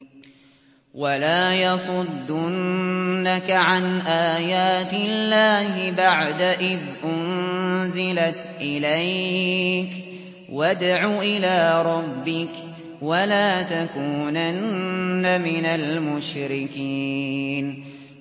وَلَا يَصُدُّنَّكَ عَنْ آيَاتِ اللَّهِ بَعْدَ إِذْ أُنزِلَتْ إِلَيْكَ ۖ وَادْعُ إِلَىٰ رَبِّكَ ۖ وَلَا تَكُونَنَّ مِنَ الْمُشْرِكِينَ